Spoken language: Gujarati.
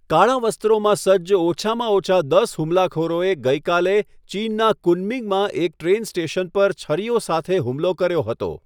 કાળા વસ્ત્રોમાં સજ્જ ઓછામાં ઓછા દસ હુમલાખોરોએ ગઈકાલે ચીનના કુનમિંગમાં એક ટ્રેન સ્ટેશન પર છરીઓ સાથે હુમલો કર્યો હતો.